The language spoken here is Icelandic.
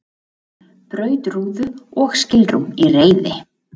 Braut rúðu og skilrúm í reiði